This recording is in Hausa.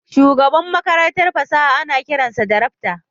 Shugaban Makarantar fasaha ana kiran sa da rakta